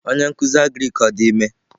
Onye nkuzi agrik ọ dị ime?